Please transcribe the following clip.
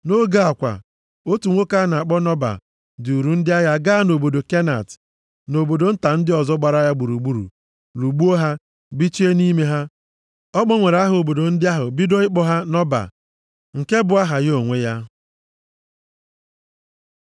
Nʼoge a kwa, otu nwoke a na-akpọ Nọba duuru ndị agha gaa nʼobodo Kenat, na nʼobodo nta ndị ọzọ gbara ya gburugburu, lụgbuo ha, bichie nʼime ha. Ọ gbanwere aha obodo ndị ahụ niile bido ịkpọ ha Nọba, nke bụ aha ya onwe ya.